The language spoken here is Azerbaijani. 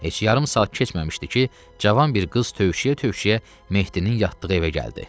Heç yarım saat keçməmişdi ki, cavan bir qız tövşüyə-tövşüyə Mehdinin yatdığı evə gəldi.